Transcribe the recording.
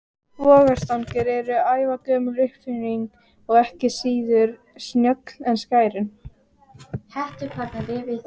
Vogarstangir eru ævagömul uppfinning og ekki síður snjöll en skærin.